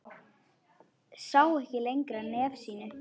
Sá ekki lengra nefi sínu.